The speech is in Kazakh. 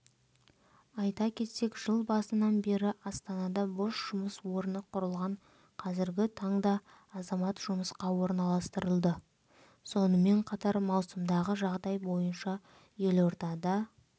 айта кетсек жыл басынан бері астанада бос жұмыс орны құрылған қазіргі таңда азамат жұмысқа орналастырылды сонымен қатар маусымдағы жағдай бойынша елордада